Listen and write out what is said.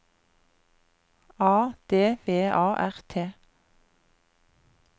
A D V A R T